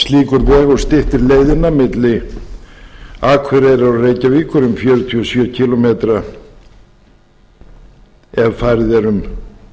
sú að slíkur vegur styttir leiðina milli akureyrar og reykjavíkur um fjörutíu og sjö kílómetra ef farið er um